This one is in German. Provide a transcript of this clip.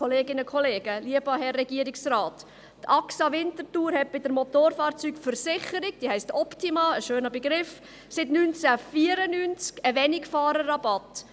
Die Axa Winterthur kennt bei ihrer Motofahrzeugversicherung Optima seit 1994 einen Wenigfahrerrabatt.